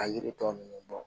A yiri tɔ ninnu bɔ